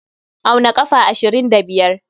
Auna ƙafa ashirin da biyar.